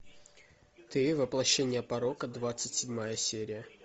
ты воплощение порока двадцать седьмая серия